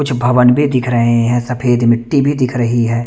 कुछ भवन भी दिख रहे हैं सफ़ेद मिटी भी दिख रही है।